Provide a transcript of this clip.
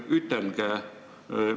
Austatud härra Stalnuhhin!